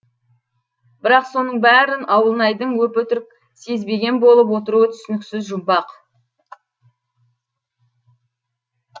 бірақ соның бәрін ауылнайдың өп өтірік сезбеген болып отыруы түсініксіз жұмбақ